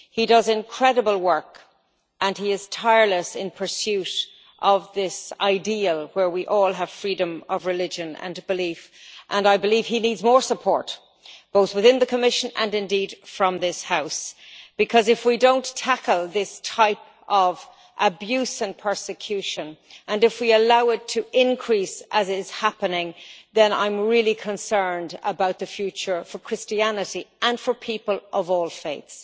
He does incredible work and he is tireless in pursuit of this ideal where we all have freedom of religion and belief, and I believe he needs more support, both within the Commission and indeed from this House, because if we don't tackle this type of abuse and persecution and if we allow it to increase, as is happening, then I'm really concerned about the future for Christianity and for people of all faiths.